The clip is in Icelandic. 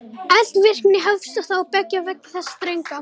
Eldvirkni hófst þá beggja vegna þess þrönga